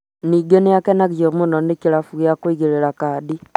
ningĩ nĩ akenagio mũno nĩ kĩrabu gĩa kũigĩrĩra kadi